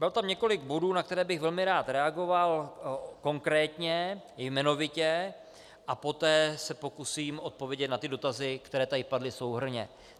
Bylo tam několik bodů, na které bych velmi rád reagoval konkrétně, jmenovitě, a poté se pokusím odpovědět na ty dotazy, které tady padly souhrnně.